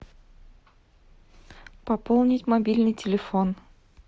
пополнить мобильный телефон